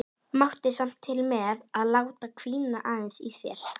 En Gamli ritaði þá fyrir Gissur biskup í